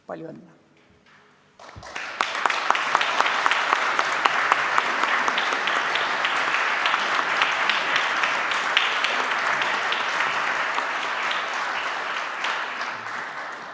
Palju õnne!